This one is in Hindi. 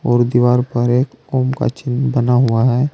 और दीवार पर एक ओम का चिन्ह बना हुआ है।